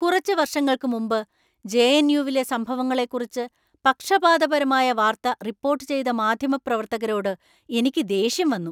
കുറച്ച് വർഷങ്ങൾക്ക് മുമ്പ് ജെ.എൻ.യു.വിലെ സംഭവങ്ങളെക്കുറിച്ച് പക്ഷപാതപരമായ വാർത്ത റിപ്പോർട്ട് ചെയ്ത മാധ്യമപ്രവർത്തകരോട് എനിക്ക് ദേഷ്യം വന്നു.